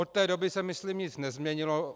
Od té doby se myslím nic nezměnilo.